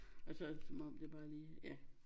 Og så som om det bare lige ja